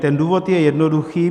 Ten důvod je jednoduchý.